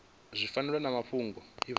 zwi fanaho na mafhungo a